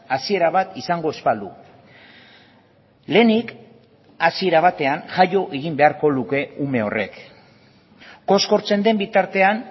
hasiera bat izango ez balu lehenik hasiera batean jaio egin beharko luke ume horrek koskortzen den bitartean